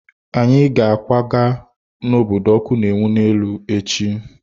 Anyị ga-akwaga n'obodo ọkụ na-enwu n'elu echi.